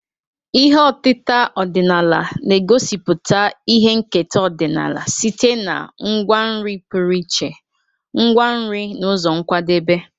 Ihe otita ọdịnala na-egosipụta ihe nketa ọdịnala site na ngwa nri pụrụ iche, ngwa nri na ụzọ nkwadebe.